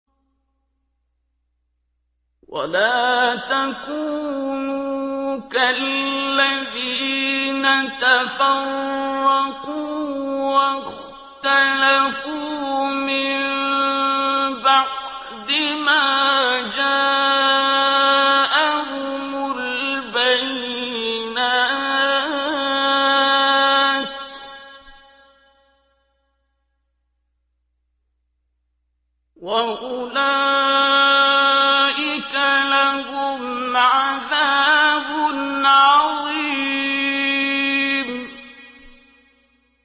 وَلَا تَكُونُوا كَالَّذِينَ تَفَرَّقُوا وَاخْتَلَفُوا مِن بَعْدِ مَا جَاءَهُمُ الْبَيِّنَاتُ ۚ وَأُولَٰئِكَ لَهُمْ عَذَابٌ عَظِيمٌ